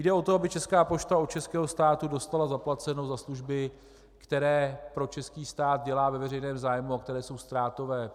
Jde o to, aby Česká pošta od českého státu dostala zaplaceno za služby, které pro český stát dělá ve veřejném zájmu a které jsou ztrátové.